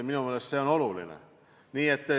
Minu meelest on see oluline.